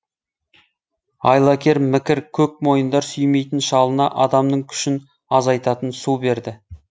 айлакер мікір көк мойындар сүймейтін шалына адамның күшін азайтатын су берді